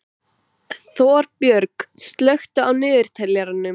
Þorbjörg, slökktu á niðurteljaranum.